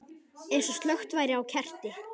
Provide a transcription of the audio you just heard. Eins og slökkt væri á kerti.